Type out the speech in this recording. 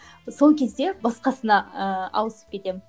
сол кезде басқасына ыыы ауысып кетемін